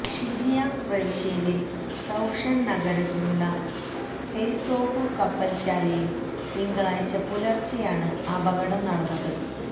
ഷിജിയാങ് പ്രവിശ്യയിലെ സൌഷന് നഗരത്തിലുള്ള ഹെയ്സോഹു കപ്പല്ശാലയില് തിങ്കളാഴ്ച പുലര്ച്ചെയാണ് അപകടം നടന്നത്